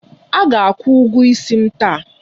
A ga-akwụ ụgwọ isi m taa.